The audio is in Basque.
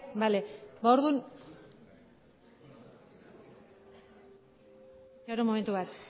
momentu bat